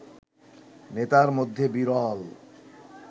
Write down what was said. নেতার মধ্যে বিরল